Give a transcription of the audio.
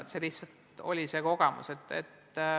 Selline lihtsalt oli see kogemus.